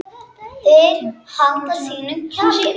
Þeir halda sínum kjarna.